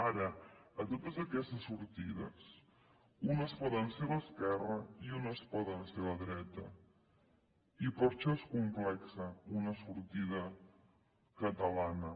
ara totes aquestes sortides unes poden ser d’esquerra i unes poden ser de dreta i per això és complexa una sortida catalana